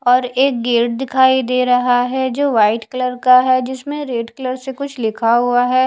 और एक गेट दिखाई दे रहा है जो वाइट कलर का है जिसमे रेड कलर से कुछ लिखा हुआ है।